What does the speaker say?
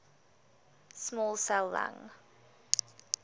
small cell lung